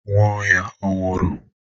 Nwaohia ọ nwụru?